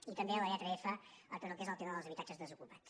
i també a la lletra fque és el tema dels habitatges desocupats